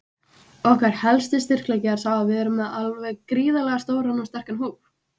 Okkar helsti styrkleiki er sá að við erum með alveg gríðarlega stóran og sterkan hóp.